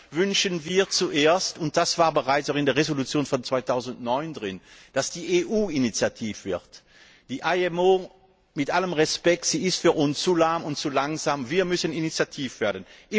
Deshalb wünschen wir zuerst, und das war bereits auch in der Entschließung von 2009 drin, dass die EU initiativ wird. Die IMO mit allem Respekt ist für uns zu lahm und zu langsam. Wir müssen initiativ werden.